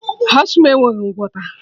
Asthma enweghị ngwọta